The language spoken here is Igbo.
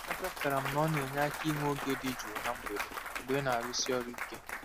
Achọpụtara m na ọ na-enye aka inwe oge dị jụụ na mgbede mgbe ị na-arụsi ọrụ ike.